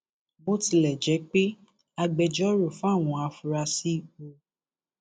bó tilẹ jẹ pé agbẹjọrò fáwọn afurasí u